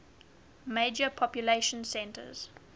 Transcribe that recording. major population centers